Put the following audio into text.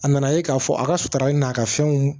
A nana ye k'a fɔ a kasara in n'a ka fɛnw